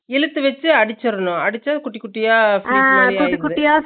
இழுத்து வெச்சு அடுச்ச்சரனு அடுச்சு குட்டி குட்டியா fleats